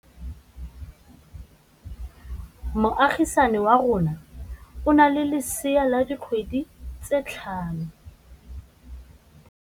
Moagisane wa rona o na le lesea la dikgwedi tse tlhano.